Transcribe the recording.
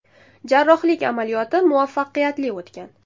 Jarrohlik amaliyoti muvaffaqiyatli o‘tgan.